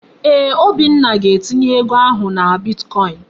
Eeh, Obinna ga-etinye ego ahụ na bitkọin.